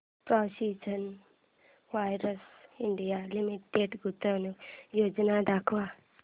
precision wires India limited गुंतवणूक योजना दाखव